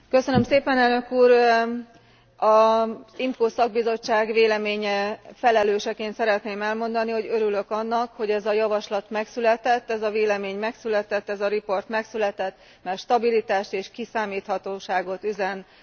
Az IMCO szakbizottság véleménye felelőseként szeretném elmondani, hogy örülök annak, hogy ez a javaslat megszületett, ez a vélemény megszületett, ez a riport megszületett, mert stabilitást és kiszámíthatóságot üzen az Európai Unió polgárainak.